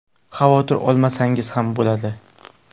Xavotir olmasangiz ham bo‘ladi.